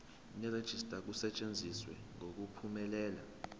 nerejista kusetshenziswe ngokuphumelela